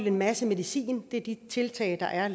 en masse medicin det er de tiltag der er